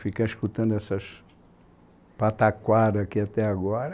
Ficar escutando essas pataquadas aqui até agora.